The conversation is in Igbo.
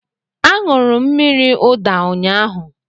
A ñụrụ mmírí ụda ụnyaahụ